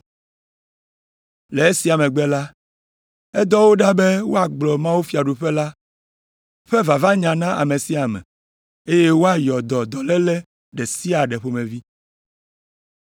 Le esia megbe la, edɔ wo ɖa be woagblɔ mawufiaɖuƒe la ƒe vavanya na ame sia ame, eye woayɔ dɔ dɔléle ɖe sia ɖe ƒomevi.